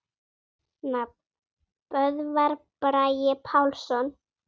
Nafn: Böðvar Bragi Pálsson